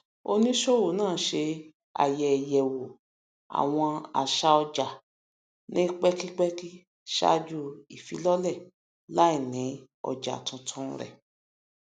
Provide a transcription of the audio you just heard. oníṣòwò náà ṣe ayẹyẹwò àwọn àṣà ọjà ní pẹkipẹki ṣáájú ìfílọlẹ làínì ọjà tuntun rẹ